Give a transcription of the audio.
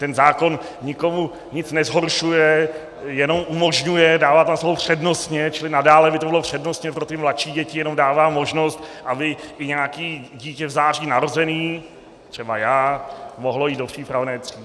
Ten zákon nikomu nic nezhoršuje, jenom umožňuje, dává tam slovo "přednostně", čili nadále by to bylo přednostně pro ty mladší děti, jenom dává možnost, aby i nějaké dítě v září narozené, třeba já, mohlo jít do přípravné třídy.